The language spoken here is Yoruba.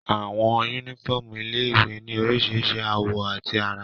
Àwọn yúnífọ́ọ̀mù ilé-ìwé ní oríṣiríṣi àwọ̀ àti àrà